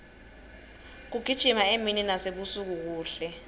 kugijima emini nasebusuku kuhle